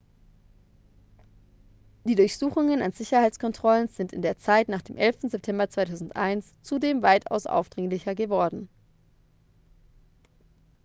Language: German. die durchsuchungen an sicherheitskontrollen sind in der zeit nach dem 11. september 2001 zudem weitaus aufdringlicher geworden